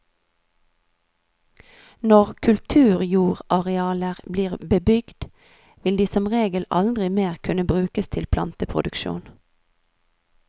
Når kulturjordarealer blir bebygd, vil de som regel aldri mer kunne brukes til planteproduksjon.